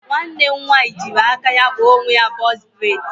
Nwanne m nwaanyị jịrị aka ya kpa onwe ya bọx breds